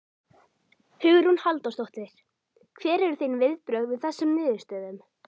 Hugrún Halldórsdóttir: Hver eru þín viðbrögð við þessum niðurstöðum?